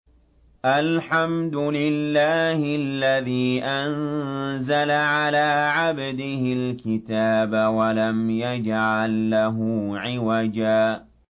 الْحَمْدُ لِلَّهِ الَّذِي أَنزَلَ عَلَىٰ عَبْدِهِ الْكِتَابَ وَلَمْ يَجْعَل لَّهُ عِوَجًا ۜ